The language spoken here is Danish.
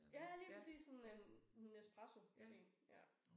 Ja lige præcis. Sådan en Nespresso en ja